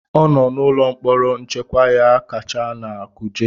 ọ nọ n'ụlọ mkpọrọ nchekwa ya kacha na Kuje